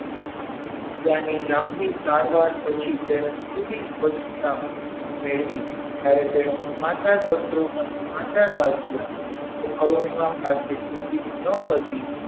તેની લાંબી સારવાર પછી તેને થોડી સ્વચ્છતા મેળવી જ્યારે તેને સમાચારપત્રોમાં સમાચાર વાંચ્યા કે અરુણિમા પ્રાથમિક ન હતી.